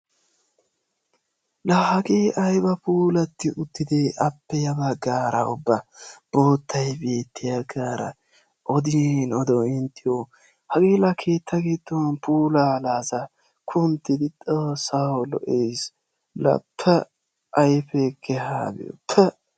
La hagee ayba puulatti uttide! appe ya baggaara ubba boottay beettiyagaara odin odo inttiyo! hagee la keetta giddon puulaa kunttidi xoossawu lo''ees! La pa'a ayfee kehaa be'o pa'a!